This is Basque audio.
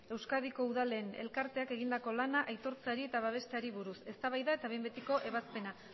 euskadiko udalen elkarteak egindako lana aitortzeari eta babesteari buruz eztabaida eta behin betiko ebazpena